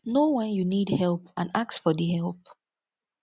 know when you need help and ask for di help